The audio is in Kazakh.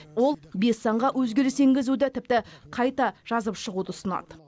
ол бес заңға өзгеріс енгізуді тіпті қайта жазып шығуды ұсынады